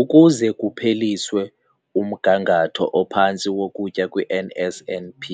Ukuze kupheliswe umgangatho ophantsi wokutya kwi-N_S_N_P